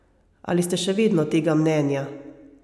Ali ste še vedno tega mnenja?